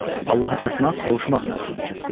Allaha çatmaq, qovuşmaq məzmunu kəsb edir.